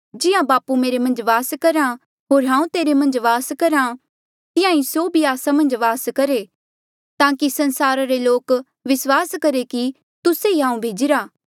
जिहां बापू मेरे मन्झ वास करहा होर हांऊँ तेरे मन्झ वास करहा तिहां ईं स्यों भी आस्सा मन्झ वास करहे ताकि संसार रे लोक विस्वास करहे कि तुस्से ई हांऊँ भेजिरा